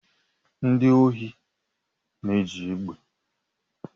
Ndị ohi na-eji egbe